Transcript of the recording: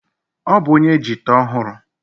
Ọ bụ onye jita ọhụrụ.